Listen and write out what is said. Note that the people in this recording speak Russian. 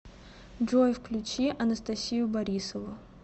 джой включи анастасию борисову